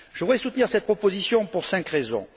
Je voudrais soutenir cette proposition pour cinq raisons.